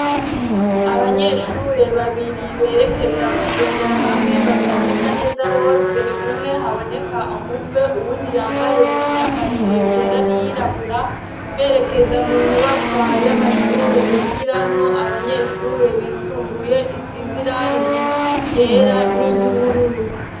Abanyeshure babiri berekeza kugendera hamwe, bataboneka neza bose ,umwe haboneka umutwe uwundi yambaye imyambarire yera n'iyirabura, berekeza mu nyubakwa y'amashure yigiramo abanyeshure bisumbuye , isiz'irangi ryera niry'ubururu.